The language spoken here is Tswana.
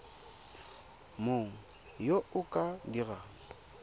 mang yo o ka dirang